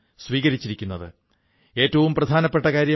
ഇവിടെ Aajeevika farm fresh ആപ്പിന്റെ ആശയം വളരെ പ്രചാരം നേടുകയാണ്